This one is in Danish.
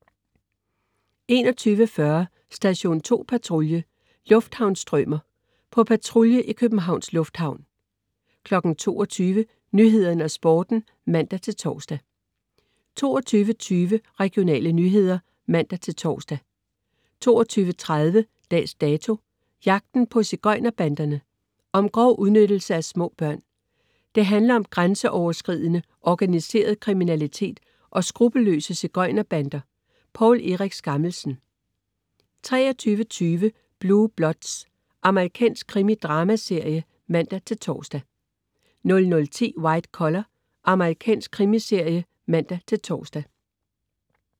21.40 Station 2 Patrulje: Lufthavnsstrømer. På patrulje i Københavns Lufthavn 22.00 Nyhederne og Sporten (man-tors) 22.20 Regionale nyheder (man-tors) 22.30 Dags Dato: Jagten på sigøjner-banderne. Om grov udnyttelse af små børn. Det handler om grænseoverskridende, organiseret kriminalitet og skruppelløse sigøjner-bander. Poul Erik Skammelsen 23.20 Blue Bloods. Amerikansk krimi-dramaserie (man-tors) 00.10 White Collar. Amerikansk krimiserie (man-tors)